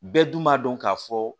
Bɛɛ dun b'a dɔn k'a fɔ